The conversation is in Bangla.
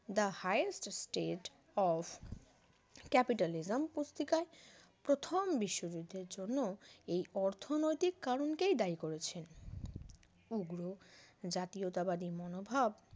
the highest stage of capitalism পুস্তিকায় প্রথম বিশ্বযুদ্ধের জন্য এই অর্থনৈতিক কারণেই দায়ী করেছেন উগ্র জাতীয়তাবাদী মনোভাব